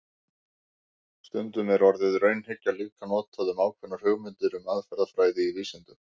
Stundum er orðið raunhyggja líka notað um ákveðnar hugmyndir um aðferðafræði í vísindum.